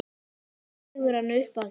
Dregur hana upp að sér.